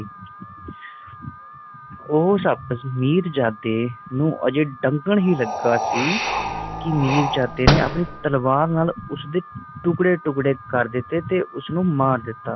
ਉਹ ਸੱਪ ਮੀਰਜਦਾ ਨੂੰ ਅਜੇ ਡੰਗਣ ਹੀ ਲੱਗਾ ਸੀ ਕਿ ਮੀਰਜਦਾ ਨੇ ਆਪਣੀ ਤਲਵਾਰ ਨਾਲ ਉਸਦੇ ਟੁਕੜੇ ਟੁਕੜੇ ਕਰ ਦਿੱਤੇ ਤੇ ਉਸ ਨੂੰ ਮਾਰ ਦਿੱਤਾ